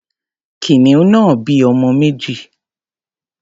Kìnìún náà bí ọmọ méjì.